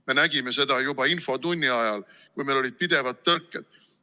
Me nägime seda juba infotunni ajal, kui meil olid pidevalt tõrked.